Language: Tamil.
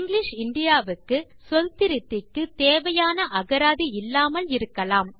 இங்கிலிஷ் இந்தியா க்கு சொல்திருத்திக்கு தேவையான அகராதி இல்லாமல் இருக்கலாம்